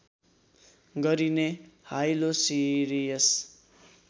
गरिने हाइलोसिरियस